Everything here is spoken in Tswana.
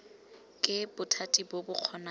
ke bothati bo bo kgonang